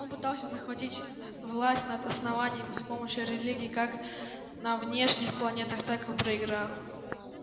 он пытался захватить власть над основанием с помощью религии как на внешних планетах так и проиграл